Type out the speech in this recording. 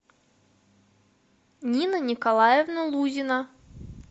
нина николаевна лузина